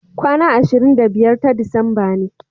kwana ashirin da biyar ta disamba ne